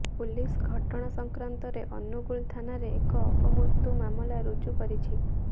police ଘଟଣା ସଂକ୍ରାନ୍ତରେ ଅନୁଗୁଳ ଥାନାରେ ଏକ ଅପମୃତ୍ୟୁ ମାମଲା ରୁଜୁ କରିଛି